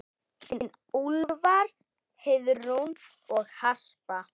Þín Úlfar, Heiðrún og Harpa.